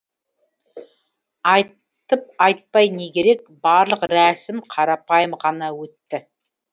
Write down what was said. айтып айтпай не керек барлық рәсім қарапайым ғана өтті